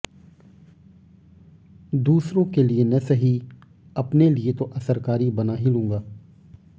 दूसरों के लिए न सही अपने लिए तो असरकारी बना ही लूंगा